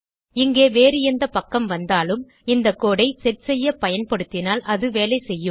இங்கே வேறு எந்த பக்கம் வந்தாலும் இந்த கோடு ஐ செட் செய்ய பயன்படுத்தினால் அது வேலை செய்யும்